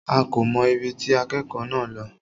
A kò mọ̀ ibi tí akẹ́kọ̀ọ́ náà lọ.